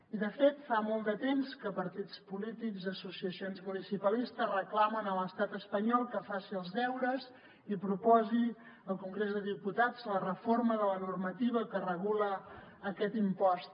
i de fet fa molt de temps que partits polítics i associacions municipalistes reclamen a l’estat espanyol que faci els deures i proposi al congrés de diputats la reforma de la normativa que regula aquest impost